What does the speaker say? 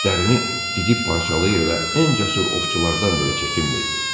İtlərini didib parçalayır və ən cəsur ovçulardan belə çəkinmirdi.